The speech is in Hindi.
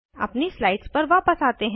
अपनी स्लाइड्स पर वायस आते हैं